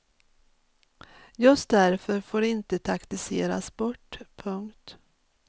Just därför får det inte taktiseras bort. punkt